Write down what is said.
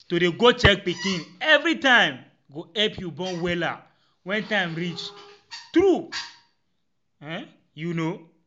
to dey go check your pikin evri time go epp u born wella wen time reach tru um u no?